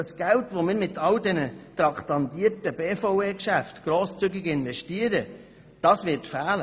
Das Geld, welches wir mit allen traktandierten BVE-Geschäften grosszügig investieren, wird fehlen.